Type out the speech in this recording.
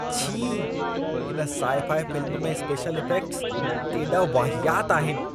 छी! हिन sci fi film में स्पेशल इफ़ेक्टस केॾा वाहियात आहिनि।